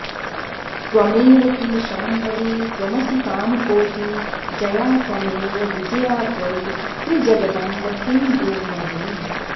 त्वमेव किल शाम्भवी त्वमसि कामकोटी जया त्वमेव विजया त्वयि त्रिजगदम्ब किं ब्रूमहे